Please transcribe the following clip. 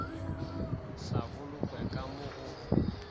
sa bolokwe ka mo go